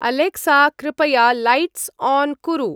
Alexa कृपया lights on कुरु।